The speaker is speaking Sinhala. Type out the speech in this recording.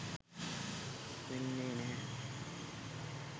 වෙන්නේ නැහැ.